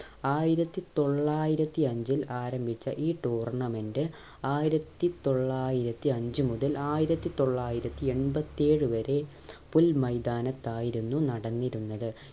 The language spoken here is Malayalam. ആയിരത്തി തൊള്ളായിരത്തി അഞ്ചിൽ ആരംഭിച്ച ഈ tournamnent ആയിരത്തി തൊള്ളായിരത്തി അഞ്ച് മുതൽ ആയിരത്തി തൊള്ളായിരത്തി എൺപത്തി ഏഴ് വരെ പുൽ മൈതാനത്ത് ആയിരുന്നു നടന്നിരുന്നത്